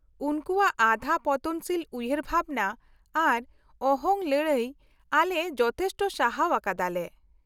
-ᱩᱱᱠᱩᱣᱟᱜ ᱟᱫᱷᱟ ᱯᱚᱛᱚᱱᱥᱤᱞ ᱩᱭᱦᱟᱹᱨ ᱵᱷᱟᱵᱽᱱᱟ ᱟᱨ ᱚᱦᱚᱝ ᱞᱟᱹᱲᱦᱟᱹᱭ ᱟᱞᱮ ᱡᱚᱛᱷᱮᱥᱴᱚ ᱥᱟᱦᱟᱣ ᱟᱠᱟᱫᱟ ᱞᱮ ᱾